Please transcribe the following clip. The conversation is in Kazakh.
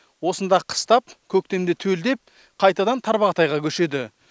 осында қыстап көктемде төлдеп қайтадан тарбағатайға көшеді